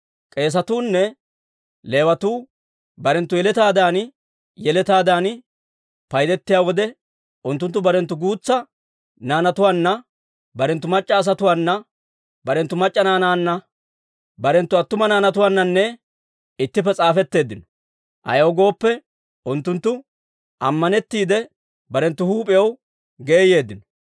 K'eesetuunne Leewatuu barenttu yeletaadan yeletaadan paydetiyaa wode, unttunttu barenttu guutsa naanatuwaanna, barenttu mac'c'a asatuwaana, barenttu mac'c'a naanaanne barenttu attuma naanatuwaanna ittippe s'aafetteeddino; ayaw gooppe, unttunttu ammanettiide, barenttu huup'iyaw geeyeeddino.